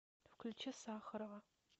включи сахарова